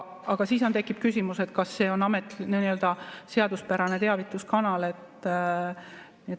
Aga siis tekib küsimus, kas see on seaduspärane teavituskanal.